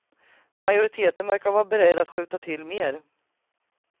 Majoriteten verkar vara beredd att skjuta till mer.